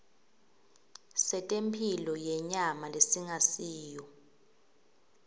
setemphilo yenyama lesingasiyo